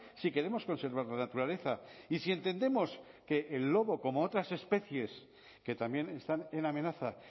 si queremos conservar la naturaleza y si entendemos que el lobo como otras especies que también están en amenaza